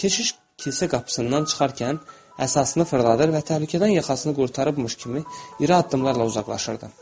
Keşiş kilsə qapısından çıxarkən əsasını fırladır və təhlükədən yaxasını qurtarmış kimi iri addımlarla uzaqlaşırdı.